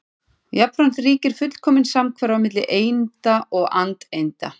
Jafnframt ríkir fullkomin samhverfa milli einda og andeinda.